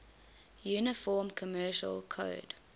uniform commercial code